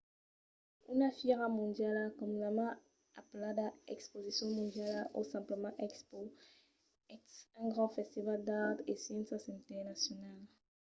una fièra mondiala comunament apelada exposicion mondiala o simplament expo es un grand festival d’arts e sciéncias internacional